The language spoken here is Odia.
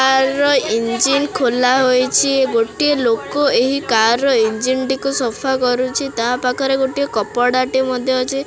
ଆଲୋ ଇଞ୍ଜିନ ଖୋଲା ହୋଇଚି ଗୋଟିଏ ଲୋକ ଏହି କାର ର ଇଞ୍ଜିନ ଟିକୁ ସଫା କରୁଚି ତା ପାଖରେ ଗୋଟିଏ କପଡା ଟେ ମଧ୍ୟ ଅଛି।